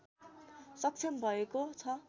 सक्षम भएको छ